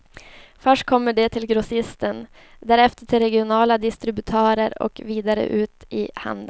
Först kommer de till grossisten, därefter till regionala distributörer och vidare ut i handeln.